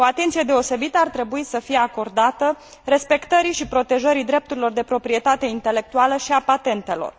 O atenție deosebită ar trebui să fie acordată respectării și protejării drepturilor de proprietate intelectuală și a patentelor.